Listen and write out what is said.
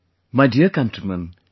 My dear countrymen,